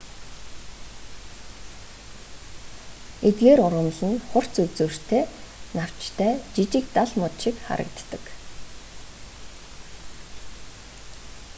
эдгээр ургамал нь хурц үзүүртэй навчтай жижиг дал мод шиг харагддаг